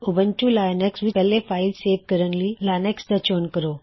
Ubuntu Linux ਵਿੱਚ ਪਹਿਲੇ file save ਕਰਨ ਲਈ ਲੋਕੇਸ਼ਨ ਦਾ ਚੋਣ ਕਰੋ